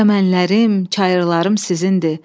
Çəmənlərim, çayırlarım sizindir.